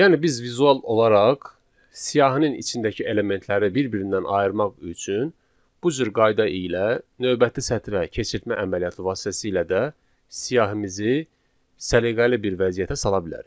Yəni biz vizual olaraq siyahının içindəki elementləri bir-birindən ayırmaq üçün bu cür qayda ilə növbəti sətrə keçirtmə əməliyyatı vasitəsilə də siyahimizi səliqəli bir vəziyyətə sala bilərik.